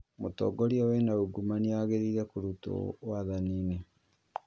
Mũtongoria wĩna uungumania agĩrĩire kũrutwo wathaninĩ